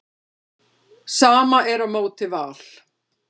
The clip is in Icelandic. Sama er á móti Val.